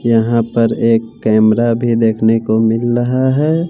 यहां पर एक कैमरा भी देखने को मिल रहा है।